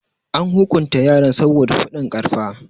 An hukunta yaran saboda faɗin karfa.